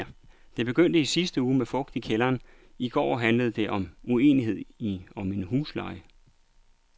Det begyndte i sidste uge med fugt i kælderen, i går handlede det om uenighed om en husleje.